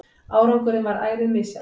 Árangurinn varð ærið misjafn.